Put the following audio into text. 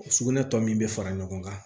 Sugunɛ tɔ min bɛ fara ɲɔgɔn kan